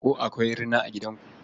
Ko akwai rina a gidanku?